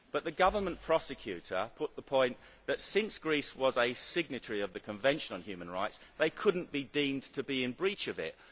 But the government prosecutor put the point that since Greece was a signatory of the Convention on Human Rights it could not be deemed to be in breach of it.